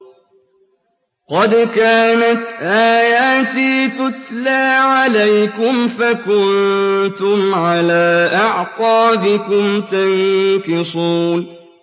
قَدْ كَانَتْ آيَاتِي تُتْلَىٰ عَلَيْكُمْ فَكُنتُمْ عَلَىٰ أَعْقَابِكُمْ تَنكِصُونَ